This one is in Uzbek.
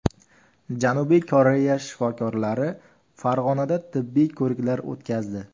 Janubiy Koreya shifokorlari Farg‘onada tibbiy ko‘riklar o‘tkazdi.